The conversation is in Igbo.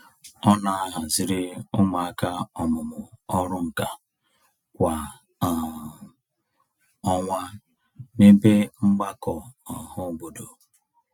Ọ na-ahaziri ụmụaka ọmụmụ ọrụnkà kwa um ọnwa n'ebe mgbakọ ọhaobodo.